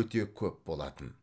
өте көп болатын